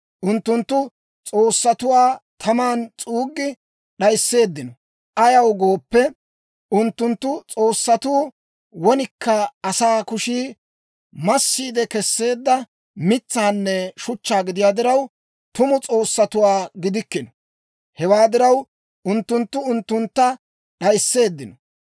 Unttunttu s'oossatuwaa taman s'uuggi d'ayisseeddino; ayaw gooppe, unttunttu s'oossatuu wonikka asaa kushii massiide Kesseedda mitsaanne shuchchaa gidiyaa diraw, tumu s'oossatuwaa gidikkino; hewaa diraw, unttunttu unttuntta d'ayisseeddino.